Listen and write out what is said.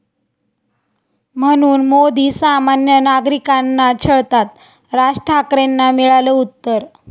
...म्हणून मोदी सामान्य नागरिकांना छळतात, राज ठाकरेंना मिळालं उत्तर